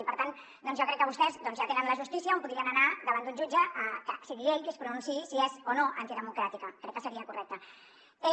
i per tant jo crec que vostès ja tenen la justícia on podrien anar davant d’un jutge i que sigui ell qui es pronunciï si és o no antidemocràtica crec que seria correcte